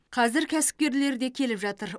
қазір кәсіпкерлер де келіп жатыр